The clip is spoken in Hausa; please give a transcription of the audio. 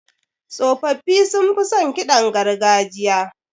Tsofaffi sunfi son ƙidan gargajiya.